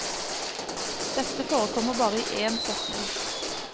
Dette forekommer bare i én setning.